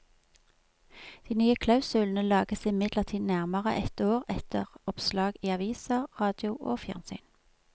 De nye klausulene lages imidlertid nærmere ett år etter oppslag i aviser, radio og fjernsyn.